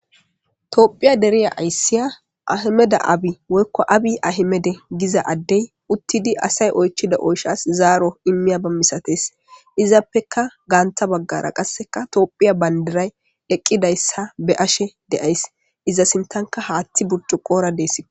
Toophiya deriya ayssiya ahimeda abi woykko abi ahimede giza addey uttidi asay oychida oyshas zaaro immiya ba misates izappeka gaantha baggara qasseka toophiya bandiray eqqidayssa be ashe deays iza sintanka haaththi burcu qoora deeskko.